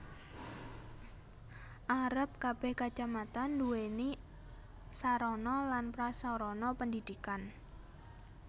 Arep kebeh Kacamatan duwéni sarana lan prasarana pendidikan